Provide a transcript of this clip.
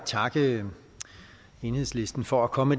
takke enhedslisten for at komme